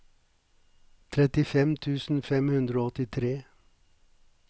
trettifem tusen fem hundre og åttitre